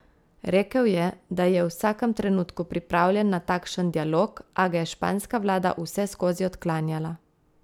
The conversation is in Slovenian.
Rekel je, da je v vsakem trenutku pripravljen na takšen dialog, a ga je španska vlada vseskozi odklanjala.